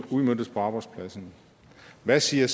udmøntes på arbejdspladserne hvad siger